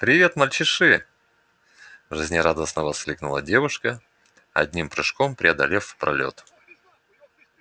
привет мальчиши жизнерадостно воскликнула девушка одним прыжком преодолев пролёт